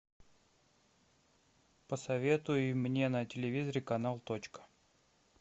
посоветуй мне на телевизоре канал точка